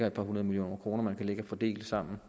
et par hundrede millioner kroner man kan fordele sammen